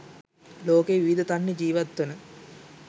ලෝකයේ විවිධ තන්හි ජීවත්වන